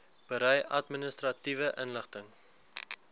berei administratiewe inligting